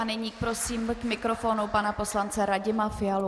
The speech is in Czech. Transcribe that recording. A nyní prosím k mikrofonu pana poslance Radima Fialu.